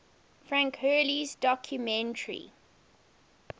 frank hurley's documentary